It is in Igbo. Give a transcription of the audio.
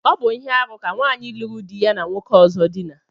Ọ bu ihe-árú ka nwanyi luru di ya na nwoke ọzọ dina.